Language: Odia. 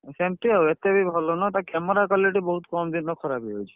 ସେମତି ଆଉ ଏତେ ବି ଭଲ ନୁହଁ। ତାର camera quality ବହୁତ୍ କମ୍ ଦିନରେ ଖରାପ ହେଇଯାଉଛି।